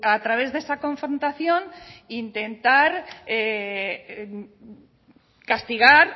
a través de esa confrontación intentar castigar